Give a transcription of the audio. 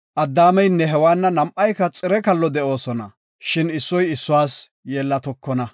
Addaameynne Hewaanna nam7ayka xire kallo de7oosona; shin issoy issuwas yeellatokona.